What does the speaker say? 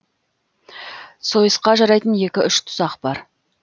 сойысқа жарайтын екі үш тұсақ бар